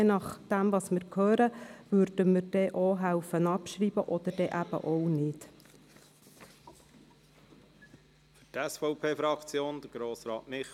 Je nachdem, was wir hören, würden wir eine Abschreibung unterstützen oder eben nicht.